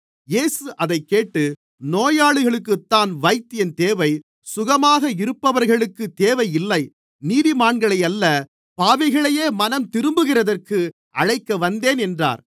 இயேசு அதைக்கேட்டு நோயாளிகளுக்குத்தான் வைத்தியன் தேவை சுகமாக இருப்பவர்களுக்கு தேவை இல்லை நீதிமான்களையல்ல பாவிகளையே மனம்திரும்புகிறதற்கு அழைக்கவந்தேன் என்றார்